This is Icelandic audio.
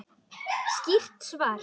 Skýrt svar!